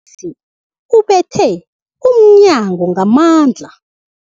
Umthengisi ubethe umnyango ngamandla.